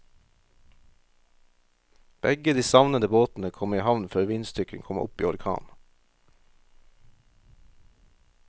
Begge de savnede båtene kom i havn før vindstyrken kom opp i orkan.